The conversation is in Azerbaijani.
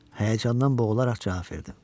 Həyəcandan boğularaq cavab verdim.